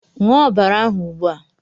Ṅụọ ọbara ahụ ugbua!